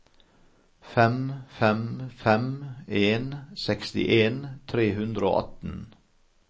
fem fem fem en sekstien tre hundre og atten